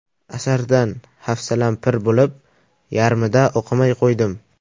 Asardan hafsalam pir bo‘lib, yarmida o‘qimay qo‘ydim.